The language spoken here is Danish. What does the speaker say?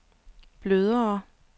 blødere